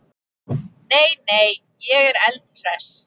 Nei, nei, ég er eldhress.